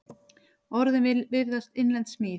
Orðin virðast innlend smíð.